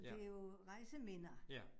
Ja. Ja